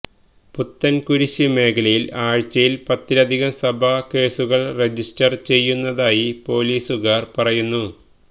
പുത്തന്കുരിശ് മേഖലയില് ആഴ്ചയില് പത്തിലധികം സഭാ കേസുകള് രജിസ്റ്റര് ചെയ്യുന്നതായി പോലീസുകാര് പറയുന്നു